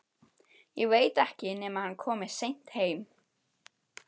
Ég veit ekki nema hann komi seint heim